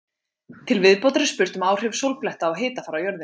Til viðbótar er spurt um áhrif sólbletta á hitafar á jörðinni.